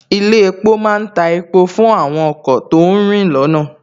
Ilé epo má ń ta epo fún àwọn ọkọ̀ tó ń rìn lọ́nà